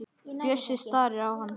Bjössi starir á hana.